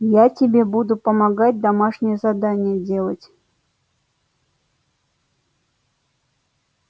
я тебе буду помогать домашнее задание делать